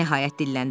o nəhayət dilləndi.